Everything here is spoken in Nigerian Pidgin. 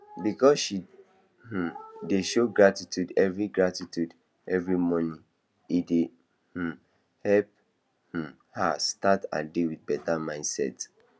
because she um dey show gratitude every gratitude every morning e dey um help um her start her day with better mindset